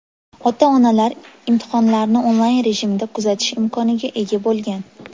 Ota-onalar imtihonlarni onlayn rejimida kuzatish imkoniga ega bo‘lgan.